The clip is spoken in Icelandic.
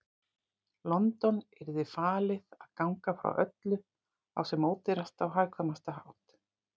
London yrði falið að ganga frá öllu á sem ódýrastan og hagkvæmastan hátt.